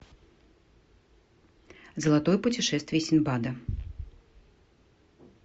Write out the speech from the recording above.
золотое путешествие синдбада